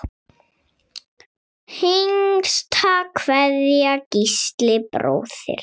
Hinsta kveðja, Gísli bróðir.